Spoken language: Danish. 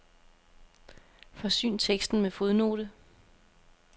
Forsyn teksten med fodnote.